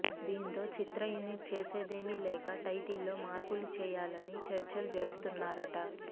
దీంతో చిత్ర యూనిట్ చేసేదేమి లేక టైటిల్ లో మార్పులు చేయాలనీ చర్చలు జరుపుతున్నారట